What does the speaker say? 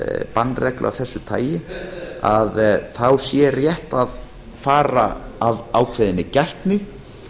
bannreglu af þessu tagi sé rétt að fara af ákveðinni gætni